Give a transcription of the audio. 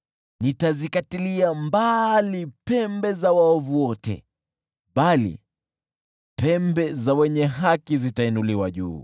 Nitazikatilia mbali pembe za waovu wote, bali pembe za wenye haki zitainuliwa juu.